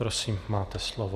Prosím, máte slovo.